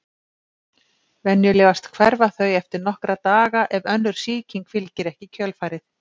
Venjulegast hverfa þau eftir nokkra daga ef önnur sýking fylgir ekki í kjölfarið.